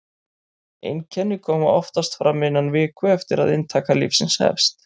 einkenni koma oftast fram innan viku eftir að inntaka lyfsins hefst